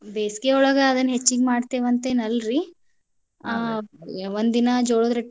ಬೇಸಿಗೆಯೊಳಗ್ ಅವೆನ್ ಹೆಚ್ಚಿಗಿ ಮಾಡ್ತೆವಂತೇನ ಅಲ್ರಿ ಒಂದಿನಾ ಜೋಳದ್